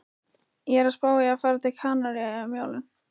Ég er að spá í að fara til Kanaríeyja um jólin